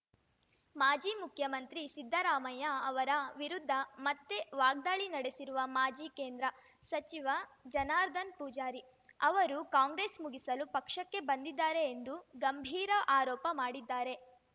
ಮಾಜಿ ಮುಖ್ಯಮಂತ್ರಿ ಸಿದ್ದರಾಮಯ್ಯ ಅವರ ವಿರುದ್ಧ ಮತ್ತೆ ವಾಗ್ದಾಳಿ ನಡೆಸಿರುವ ಮಾಜಿ ಕೇಂದ್ರ ಸಚಿವ ಜನಾರ್ದನ್ ಪೂಜಾರಿ ಅವರು ಕಾಂಗ್ರೆಸ್‌ ಮುಗಿಸಲು ಪಕ್ಷಕ್ಕೆ ಬಂದಿದ್ದಾರೆ ಎಂದು ಗಂಭೀರ ಆರೋಪ ಮಾಡಿದ್ದಾರೆ